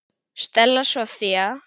Stella Soffía.